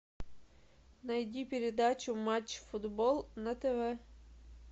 найди передачу матч футбол на тв